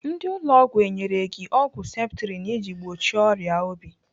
Ndị ụlọ ọgwụ enyere gị ọgwụ septrin iji gbochie ọrịa obi?